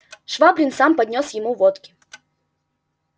швабрин сам поднёс ему водки